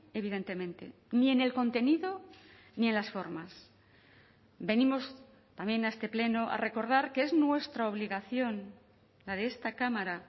evidentemente ni en el contenido ni en las formas venimos también a este pleno a recordar que es nuestra obligación la de esta cámara